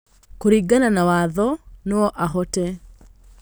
Kũringana na watho, noahote